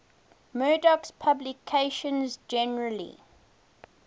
murdoch's publications generally